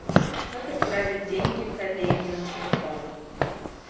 как отправить деньги коллеге на телефон